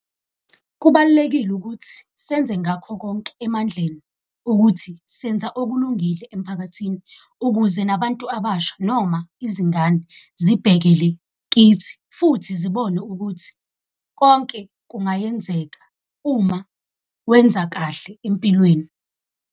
Kubalulekile ukuthi senze ngakho konke emandleni ukuthi senza okulungile emphakathini, ukuze nabantu abasha noma izingane zibhekele kithi futhi zibone ukuthi konke kungayenzeka uma wenza kahle empilweni.